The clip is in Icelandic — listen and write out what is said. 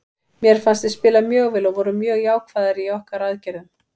Mér fannst við spila mjög vel og vorum mjög jákvæðir í okkar aðgerðum.